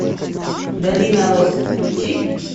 долина роз включи